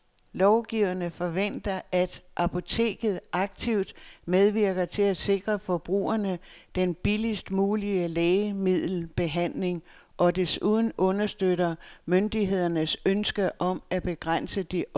Lovgiverne forventer, at apoteket aktivt medvirker til at sikre forbrugerne den billigst mulige lægemiddelbehandling og desuden understøtter myndighedernes ønske om at begrænse de offentlige udgifter.